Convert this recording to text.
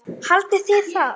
LÁRUS: Haldið þið það?